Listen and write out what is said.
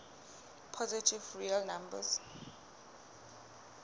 positive real numbers